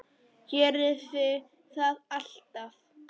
Gerði það alltaf.